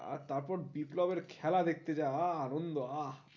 আর তার পর বিপ্লবের খেলা দেখতে যা আহ আনন্দ আহ